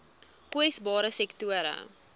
kwesbare sektore